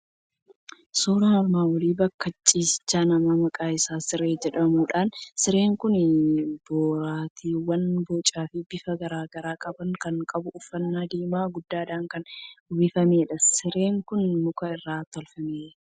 Suuraan armaan olii bakka ciisicha namaa maqaan isaa siree jedhamudha. Sireen kun boraatiiwwan bocaa fi bifa garaa garaa qaban kan qabu, uffata diimaa guddaadhaan kan uwwifamedha. Sireen kun mukaa irraa tolfaneera.